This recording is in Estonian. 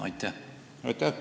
Aitäh!